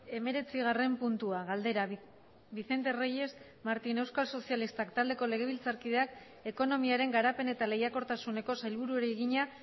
hemeretzigarren puntua galdera vicente reyes martín euskal sozialistak taldeko legebiltzarkideak ekonomiaren garapen eta lehiakortasuneko sailburuari egina